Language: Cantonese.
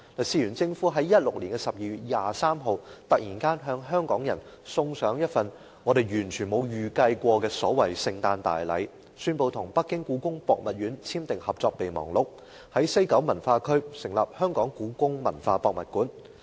事緣政府在2016年12月23日，突然向香港人送上一份我們完全沒有預計過的所謂聖誕大禮，宣布跟北京故宮博物院簽訂《合作備忘錄》，在西九文化區興建故宮館。